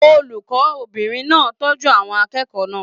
Olùkọbìnrin náà tọjú àwọn akẹ́kọ̀ọ́ náà.